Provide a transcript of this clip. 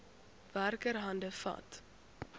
werker hande vat